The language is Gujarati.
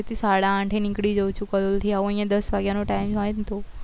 ઘરે થી સાડા આઠે નીકળી જવું છું અહિયાં દસ વાગ્યા નો time હોય ને તો